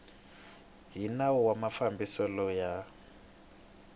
hi nawu wa mafambiselo ya